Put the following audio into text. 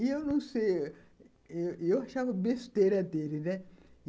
E eu não sei... Eu achava besteira dele, né?